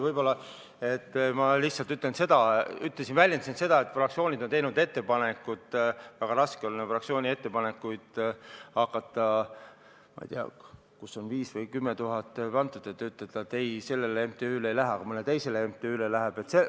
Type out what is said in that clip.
Võib-olla ma lihtsalt ütlesin, et fraktsioonid on teinud ettepanekuid ja väga raske on hakata fraktsiooni ettepanekuid vaatama, et kuhu on 5000 või 10 000 eurot antud, kui teie ütlete, et ei, sellele MTÜ-le ei lähe, aga mõnele teisele MTÜ-le läheb.